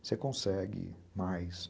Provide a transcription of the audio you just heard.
Você consegue mais.